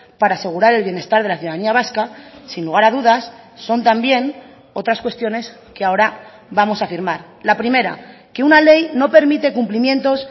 para asegurar el bienestar de la ciudadanía vasca sin lugar a dudas son también otras cuestiones que ahora vamos a firmar la primera que una ley no permite cumplimientos